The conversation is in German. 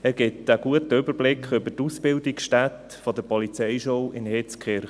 Er gibt einen guten Überblick über die Ausbildungsstätte der Polizeischule in Hitzkirch.